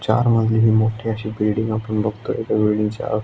चार मजली अशी ही मोठी बिल्डिंग आपण बघतोय --